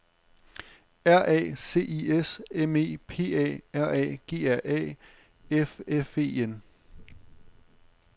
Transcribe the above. R A C I S M E P A R A G R A F F E N